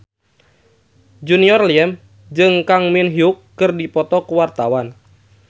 Junior Liem jeung Kang Min Hyuk keur dipoto ku wartawan